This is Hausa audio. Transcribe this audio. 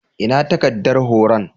Ina takaddar horon?